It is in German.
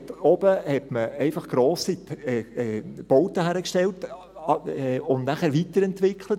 Dort oben hat man einfach grosse Bauten hingestellt und nachher weiterentwickelt.